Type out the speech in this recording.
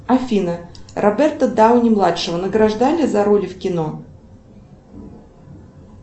афина роберта дауни младшего награждали за роли в кино